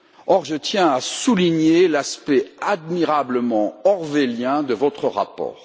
Or, je tiens à souligner l'aspect admirablement orwellien de votre rapport.